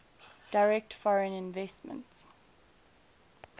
direct foreign investment